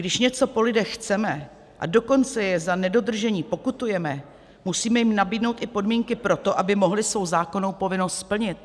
Když něco po lidech chceme, a dokonce je za nedodržení pokutujeme, musíme jim nabídnout i podmínky pro to, aby mohli svou zákonnou povinnost splnit.